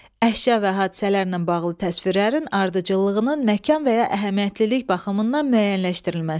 Əşya və hadisələrlə bağlı təsvirlərin ardıcıllığının məkan və ya əhəmiyyətlilik baxımından müəyyənləşdirilməsi.